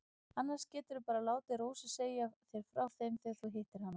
Annars geturðu bara látið Rósu segja þér frá þeim þegar þú hittir hana.